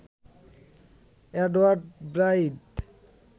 Edward Blyth